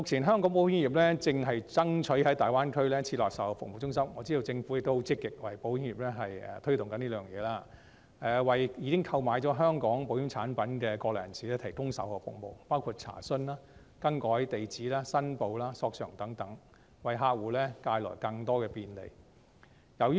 香港保險業目前正爭取在大灣區設立售後服務中心，我知道政府亦很積極地為保險業推動，為已經購買香港保險產品的國內人士提供售後服務，包括查詢、更改地址、申報、索償等，為客戶帶來更多便利。